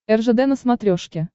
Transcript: ржд на смотрешке